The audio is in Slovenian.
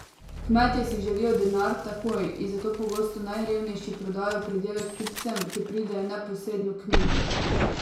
Kmetje si želijo denar takoj in zato pogosto najrevnejši prodajo pridelek kupcem, ki pridejo neposredno k njim.